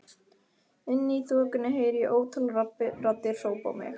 Inni í þokunni heyri ég ótal raddir hrópa á mig.